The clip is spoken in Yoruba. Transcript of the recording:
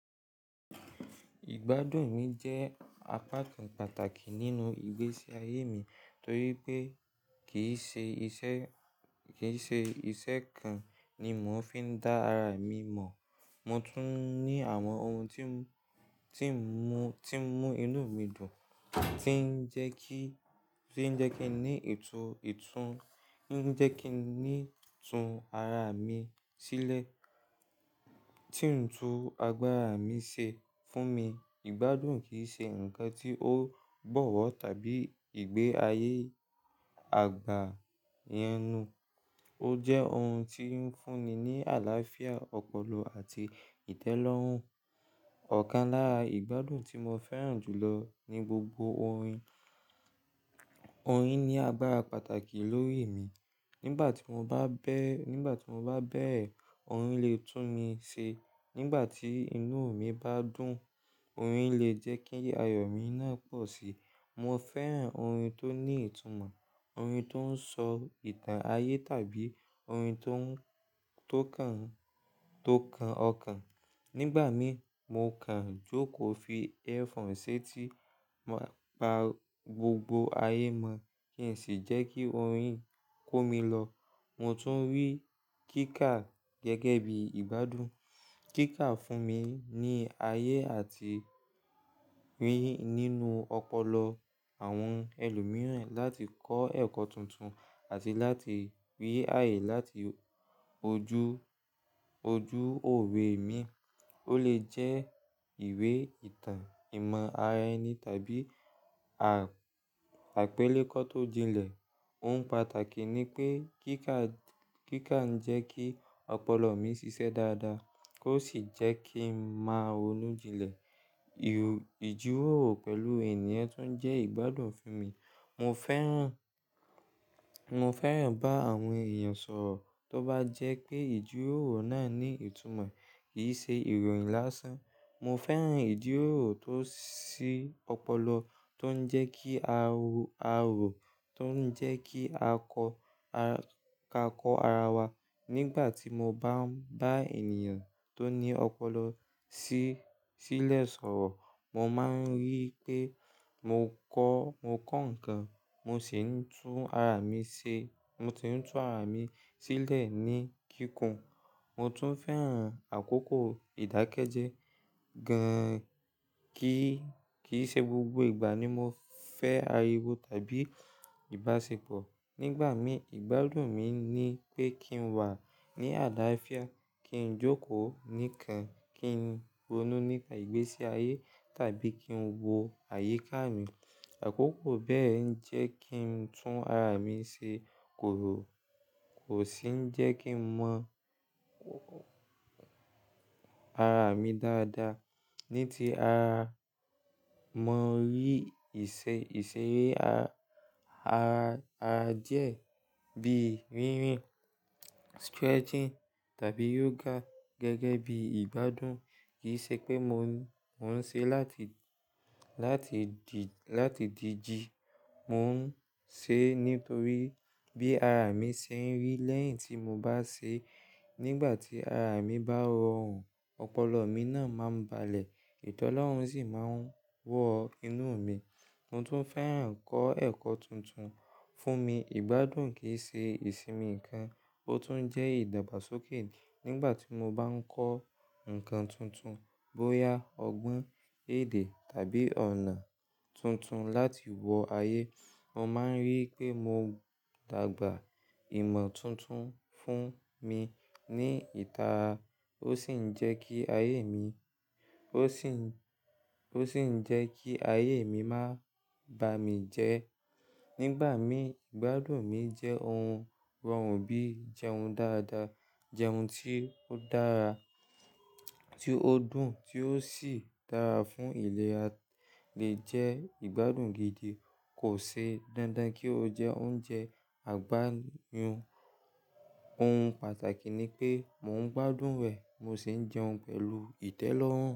Ìgbádùn mi jẹ́ apá kan pàtàkì nínú ìgbésí ayé mi torí pé kì í ṣe iṣẹ́, kì í ṣe iṣẹ́ kan ni mò ń fi dá ara mi mọ̀. Mo tún ní àwọn ohun tí ń, tí ń mú, tí ń mú inú mi dùn, tí ń jẹ́ kí, tí ń jẹ́ kí n ní ìtú, ìtún, tí ń jẹ́ kí n ní tún ara mi sílẹ̀, tí ń tún agbára mi ṣe fún mi. Ìgbádùn kì í ṣe ǹkan tí ó gbọ̀wọ́ tàbí ìgbé ayé àgbá yẹn nù. Ó jẹ́ ohun tí ń fún'ni ní àlàáfíà, ọpọlọ àti ìtẹ́lọ́rùn. Ọ̀kan lára ìgbádùn tí mo fẹ́ràn jù lọ ni gbogbo orin. Orin ni agbára pàtàkì lórí mi. Nígbà tí mo bá bẹ́, nígbà tí mo bá bẹ́ẹ̀, orin lè tún mi ṣe. Nígbà tí inú mi bá dùn, orin lè jẹ́ kí ayọ̀ mi náà pọ̀ sí i. Mo fẹ́ràn orin tó ní ìtumọ̀, orin tó ń sọ ìtàn ayé tàbí orin tó ń, tó kan, tó kan ọkàn. Nígbà mi, mo kàn jókòó fi earphone ṣétí, máa pa gbogbo ayé mọ̀ kí n sì jẹ́ kí orin kó mi lọ. Mo tún rí kíkà gẹ́gẹ́ bí ìgbádùn. Kíkà fún mi ní ayé àti rí nínú ọpọlọ àwọn ẹlòmíràn láti kọ́ ẹ̀kọ́ tuntun àti láti rí ayé láti ojú, ojú òwe mi. Ó lè jẹ́ ìwé ìtàn, ìmọ̀ ara ẹni tàbí à, àpélékọ́ tó jinlẹ̀. Ohun pàtàkì ni pé kíkà, kíkà ń jẹ́ kí ọpọlọ mi ṣiṣẹ́ dáadáa kó sì jẹ́ kí n máa ronú jinlẹ̀. Ìjíròrò pẹ̀lú ènìyàn tún jẹ́ ìgbádùn fún mi. Mo fẹ́ràn, mo fẹ́ràn bá àwọn èèyàn sọ̀rọ̀ tó bá jẹ́ pé ìjíròrò náà ní ìtumọ̀, kì í ṣe ìròyìn lásán. Mo fẹ́ràn ìjíròrò tó ṣí ọpọlọ, tó ń jẹ́ kí a ro, a rò, tó ń jẹ́ kí a kọ́, ká kọ ara wa. Nígbà tí mo bá ń bá ènìyàn tó ní ọpọlọ sí, sílẹ̀ sọ̀rọ̀, mo máa ń rí pé mò ń kọ́, mo kọ́ ǹkan, mo sì ń tún ara mi ṣe. Mo ti ń tún ara mi sílẹ̀ ní kíkún. Mo tún fẹ́ràn àkókò ìdákẹ́jẹ́ gan kí, kíì ṣe gbogbo ìgbà ni mo fẹ́ ariwo tàbí ìbáṣepọ̀. Nígbà mi, ìgbádùn mi ni pé kí n wà ní àlàáfíà, kí n jókòó nìkan, kí n ronú nípa ìgbésí ayé tàbí kí n wo àyíká mi. Àkókò bẹ́ẹ̀ ń jẹ́ kí n tún ara mi ṣe kò rò, kò sì ń jẹ́ kí n mọ̀ ara mi dáadáa. Ní ti ara, mo rí ìṣe, ìṣeré a-a-a díẹ̀ bí rínrìn, stretching tàbí yoga gẹ́gẹ́ bí ìgbádùn. Kì í ṣe pé mo, mo ń ṣe láti, láti di, láti di ji. Mo ń ṣe nítorí bí ara mi ṣe ń rí. Lẹ́yìn tí mo bá ṣe, nígbà tí ara mi bá rọrùn, ọpọlọ mi náà máa ń balẹ̀, ìtẹ́lọ́rùn sì máa ń wọ inú mi. Mo tún fẹ́ràn kọ́ ẹ̀kọ́ tuntun. Fún mi, ìgbádùn kì í ṣe ìsinmi nǹkan, ó tún jẹ́ ìdàgbàsókè. Nígbà tí mo bá ń kọ́ ǹkan tuntun bóyá ọgbọ́n èdè tàbí ọ̀nà tuntun láti wọ ayé, mo máa ń rí pé mo dàgbà. Ìmọ̀ tuntun fún mi ní ìtara ó sì ń jẹ́ kí ayé mi, ó sì ń, ó sì ń jẹ́ kí ayé mi má bà mí jẹ. Nígbà mí, ìgbádùn mi jẹ́ ohun rọrùn bí i jẹun dáadáa, jẹun tí ó dára, tí ó dùn tí ó sì dára fún ìlẹ̀ à lé jẹ́ ìgbádùn gidi. Kò ṣe dandan kí ó jẹ́ oúnjẹ àgbáyùn. Ohun pàtàkì ni pé mò ń gbádùn rẹ̀ mo sì ń jẹun pẹ̀lú ìtẹ́lọ́rùn.